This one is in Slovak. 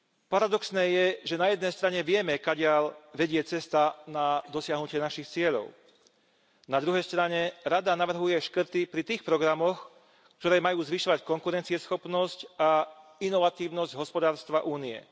Paradoxné je, že na jednej strane vieme kadiaľ vedie cesta na dosiahnutie našich cieľov, na druhej strane Rada navrhuje škrty pri tých programoch, ktoré majú zvyšovať konkurencieschopnosť a inovatívnosť hospodárstva Únie.